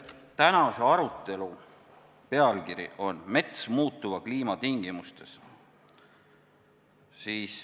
Tänase arutelu pealkiri on "Mets muutuva kliima tingimustes".